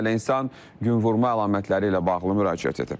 Minlərlə insan günvurma əlamətləri ilə bağlı müraciət edib.